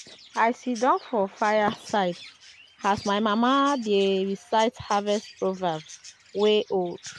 i sidon for fire side as my mama dey recite harvest proverbs wey old.